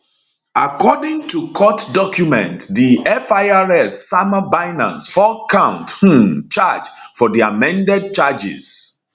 according to court documents di firs sama binance four count um charge for di amended charges